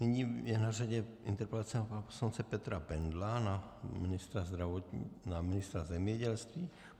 Nyní je na řadě interpelace na pana poslance Petra Bendla na ministra zemědělství.